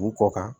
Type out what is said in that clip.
U kɔ kan